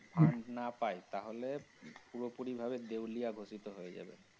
fund না পায় তাহলে পুরোপুরি ভাবে দেউলিয়া ঘোষিত হয়ে যাবে।